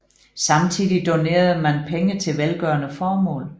Samtidig donerede man penge til velgørende formål